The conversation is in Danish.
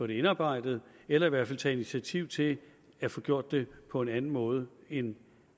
det indarbejdet eller i hvert fald taget initiativ til at få gjort det på en anden måde end